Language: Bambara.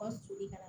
Ka sulu kana